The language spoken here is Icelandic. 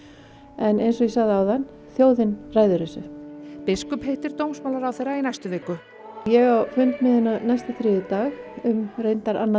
en eins og ég sagði áðan þjóðin ræður þessu biskup hittir dómsmálaráðherra í næstu viku ég á fund með henni næsta þriðjudag um reyndar annað